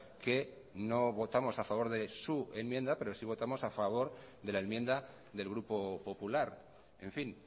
que no votamos a favor de su enmienda pero sí votamos a favor de la enmienda del grupo popular en fin